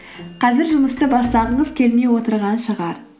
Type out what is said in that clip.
қазір жұмысты бастағыңыз келмей отырған шығар